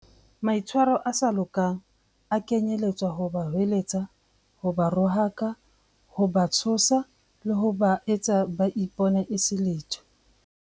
Maitshwaro a sa lokang a kenyeletsa ho ba hweletsa, ho ba rohaka, ho ba tshosa, le ho ba etsa ba ipone e se letho.